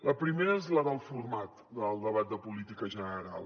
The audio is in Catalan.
la primera és la del format del debat de política general